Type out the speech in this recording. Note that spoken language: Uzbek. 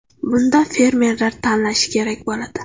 Bunda fermerlar tanlashi kerak bo‘ladi.